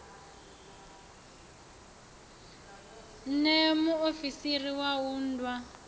ṋee muofisiri wa u unḓwa